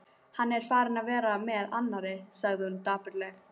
Hann er farinn að vera með annarri, sagði hún dapurlega.